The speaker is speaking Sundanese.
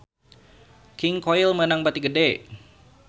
King Koil meunang bati gede